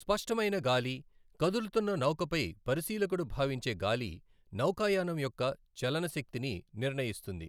స్పష్టమైన గాలి, కదులుతున్న నౌకపై పరిశీలకుడు భావించే గాలి, నౌకాయానం యొక్క చలన శక్తిని నిర్ణయిస్తుంది.